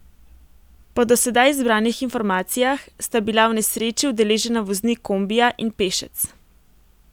Po do sedaj zbranih informacijah sta bila v nesreči udeležena voznik kombija in pešec.